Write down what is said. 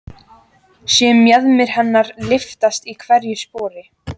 Sé mjaðmir hennar lyftast í hverju spori.